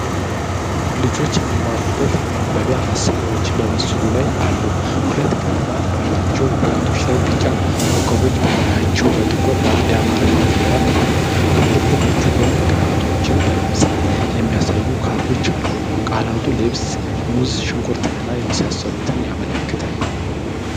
ልጆች የሚማሩበት የማንበቢያ መሳሪያዎች በምስሉ ላይ አሉ። ሁለት ቀለማት ባላቸው ወረቀቶች ላይ ቢጫ ኮከቦች በላያቸው በጥቁር የአማርኛ ፊደል አሉ። ከኮከቦቹ ጎን ቃላቶችን በምስል የሚያሳዩ ካርዶች አሉ። ቃላቱ ልብስ፣ ሙዝ፣ ሽንኩርት እና የመሳሰሉትን ያመለክታሉ።